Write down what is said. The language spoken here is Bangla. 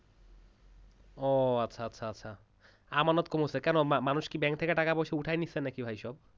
ও আচ্ছা আচ্ছা আচ্ছা আমানত কম হচ্ছে কেন মানুষ কি bank থেকে টাকা পয়সা উঠায়ে নিচ্ছে নাকি ভাই সব?